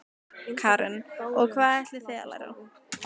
Karen: Og hvað ætlið þið að læra?